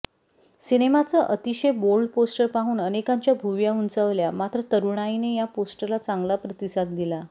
सिनेमाचं अतिषय bold poster पाहुन अनेकांच्या भुवया उंचावल्या मात्र तरुणाईने या पोस्टरला चांगला प्रतिसाद दिला